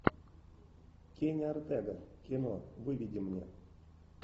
кенни ортега кино выведи мне